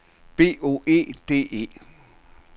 B O E D E